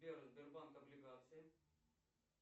сбер сбербанк облигации